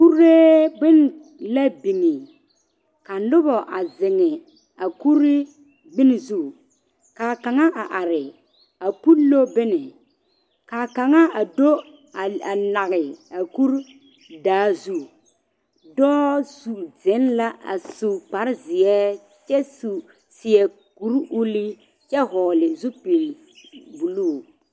Kuree bon la biŋ, ka noba a zeŋ a kuri bon zu, ka kaŋa. a are a pullo bon kaa kaŋa a do nage a kuro da zu dɔɔ zeŋɛ la a su kparre. zeɛ kyɛ seɛ kuri ulluu kyɛ vɔgeli zupili buluu